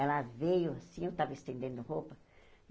Ela veio, assim, eu estava estendendo roupa.